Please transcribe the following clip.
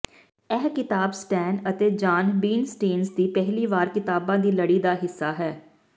ਇਹ ਕਿਤਾਬ ਸਟੈਨ ਅਤੇ ਜਾਨ ਬੀਨਸਟੇਨਜ਼ ਦੀ ਪਹਿਲੀ ਵਾਰ ਕਿਤਾਬਾਂ ਦੀ ਲੜੀ ਦਾ ਹਿੱਸਾ ਹੈ